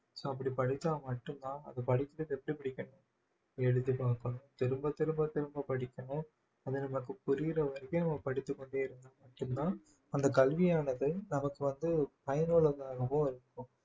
so அப்படி படிச்சா மட்டும்தான் அது படிக்கிறது எப்படி படிக்கணும் எழுதி பார்க்கணும் திரும்ப திரும்ப திரும்ப படிக்கணும் அது நமக்கு புரியிற வரைக்கும் நம்ம படித்துக் கொண்டே இருந்தால் மட்டும்தான் அந்த கல்வியானது நமக்கு வந்து பயனுள்ளதாகவும் இருக்கும்